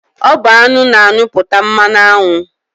Ọ bụ aṅụ na-anyụpụta mmanụaṅụ.